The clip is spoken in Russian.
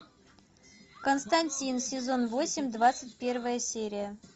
константин сезон восемь двадцать первая серия